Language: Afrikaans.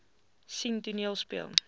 sien toneel speel